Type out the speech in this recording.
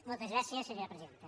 moltes gràcies senyora presidenta